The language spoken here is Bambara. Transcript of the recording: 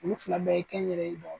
Ulu fila bɛɛ ye kɛnyɛrɛye dɔ